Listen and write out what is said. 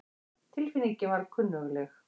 Tilfinningin var kunnugleg.